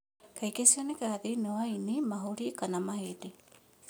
Kaingĩ cionekaga thĩinĩ wa ĩni, mahũri kana mahĩndĩ.